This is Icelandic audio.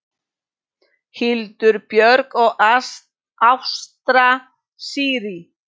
Hildur Björg og Ásta Sirrí.